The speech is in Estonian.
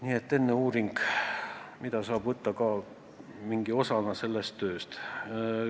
Nii et enne tehakse uuring, mida saab pidada ka mingiks osaks sellest tööst.